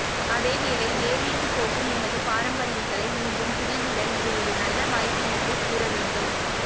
அதேவேளைஇ வேர்விட்டு போகும் எமது பாரம்பரியங்களை மீண்டும் துளிர்விட இது ஒரு நல்ல வாய்ப்பு என்றே கூறவேண்டும்